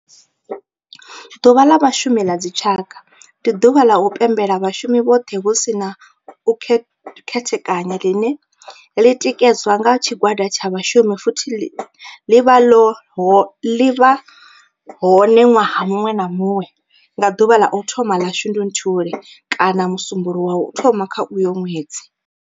Ḓuvha la Vhashumi la dzi tshaka, ndi duvha la u pembela vhashumi vhothe hu si na u khethekanya line li tikedzwa nga tshigwada tsha vhashumi futhi li vha hone nwaha munwe na munwe nga duvha la u thoma 1 la Shundunthule kana musumbulowo wa u thoma kha uyo nwedzi.